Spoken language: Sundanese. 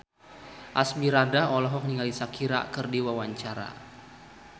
Asmirandah olohok ningali Shakira keur diwawancara